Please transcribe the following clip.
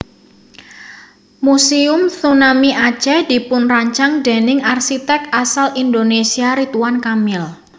Muséum Tsunami Aceh dipunrancang déning arsiték asal Indonesia Ridwan Kamil